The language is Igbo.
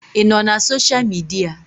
Ị nọ na sosha midia?